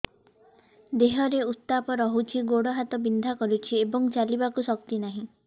ଦେହରେ ଉତାପ ରହୁଛି ଗୋଡ଼ ହାତ ବିନ୍ଧା କରୁଛି ଏବଂ ଚାଲିବାକୁ ଶକ୍ତି ନାହିଁ